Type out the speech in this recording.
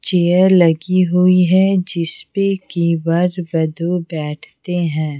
Chair लगी हुई है जिस पे की वर वधु बैठते हैं।